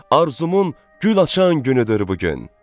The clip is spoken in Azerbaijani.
Arzumun gül açan günüdür bu gün.